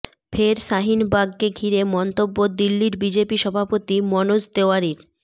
ফের শাহিনবাগকে ঘিরে মন্তব্য দিল্লির বিজেপি সভাপতি মনোজ তেওয়ারির